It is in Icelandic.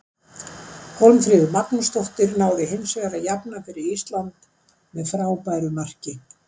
Hólmfríður Magnúsdóttir náði hinsvegar að jafna fyrir Ísland með frábæru marki.